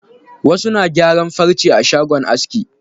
Wasu na gyaran farce a shagon aski.